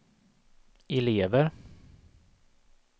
elever